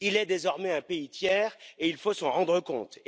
Il est désormais un pays tiers, et il faut s'en rendre compte.